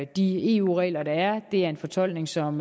de eu regler der er er en fortolkning som